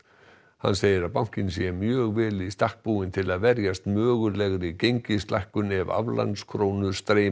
hann segir að bankinn sé mjög vel í stakk búinn til að verjast mögulegri gengislækkun ef aflandskrónur streyma